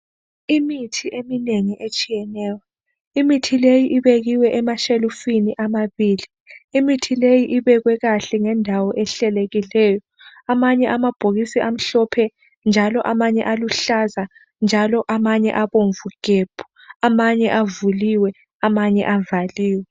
Imithi eminengi etshiyeneyo, imithi leyi ibekiwe emashelufini amabili imithi leyi ibekwe kahle ngendawo ehlelekileyo. Amanye amabhokisi amhlophe njalo amanye aluhlaza njalo amanye abomvu gebhu amanye avuliwe amanye avaliwe.